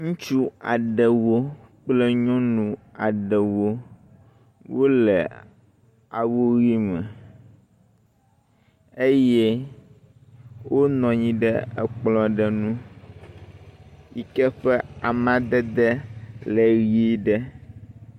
Ŋutsu aɖewo kple nyɔnu aɖewo wole awu ʋi me eye wonɔ anyi ɖe kplɔ̃ aɖe ŋu yi ke ƒe amadede le ʋi ɖe.